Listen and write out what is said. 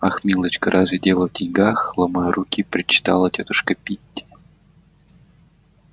ах милочка разве дело в деньгах ломая руки причитала тётушка питти